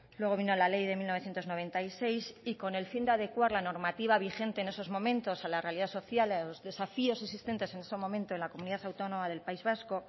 luego vino la ley de mil novecientos noventa y seis y con el fin de adecuar la normativa vigente en esos momentos a la realidad social a los desafíos existentes en esos momentos en la comunidad autónoma del país vasco